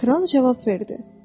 Kral cavab verdi: